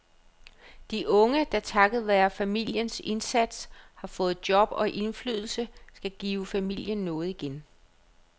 De unge, der takket være familiens indsats har fået job og indflydelse, skal give familien noget igen.